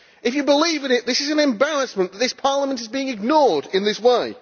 If you believe in it, then it is an embarrassment that this Parliament is being ignored in this way